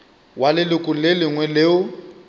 wa leloko le lengwe leo